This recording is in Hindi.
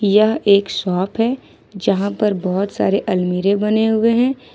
यह एक शॉप है जहां पर बहोत सारे अलमीरे बने हुए हैं।